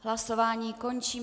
Hlasování končím.